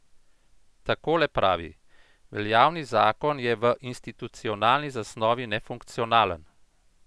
Takole pravi: "Veljavni zakon je v institucionalni zasnovi nefunkcionalen.